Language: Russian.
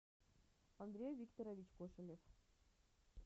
андрей викторович кошелев